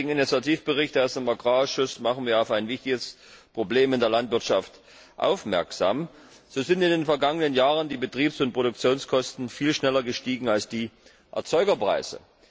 Mit dem heutigen Initiativbericht aus dem Agrarausschuss machen wir auf ein wichtiges Problem in der Landwirtschaft aufmerksam. So sind in den vergangenen Jahren die Betriebs und Produktionskosten viel schneller gestiegen als die Erzeugerpreise.